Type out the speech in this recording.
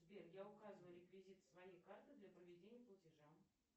сбер я указываю реквизиты своей карты для проведения платежа